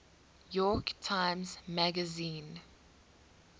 york times magazine